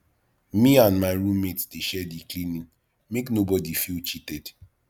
me and my room mate dey share di cleaning make nobodi feel cheated